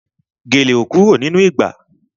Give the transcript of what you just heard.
Gèlè ò kúrò nínú ìgbà